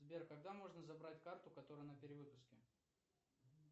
сбер когда можно забрать карту которая на перевыпуске